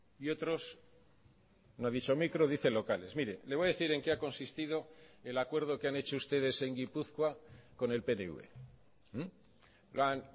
y otros no ha dicho micro dice locales mire le voy a decir en qué ha consistido el acuerdo que han hecho ustedes en gipuzkoa con el pnv lo han